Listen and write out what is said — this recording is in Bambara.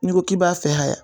N'i ko k'i b'a fɛ